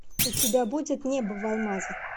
у тебя будет небо в алмазах